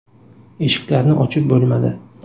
Eshiklarni ochib bo‘lmadi.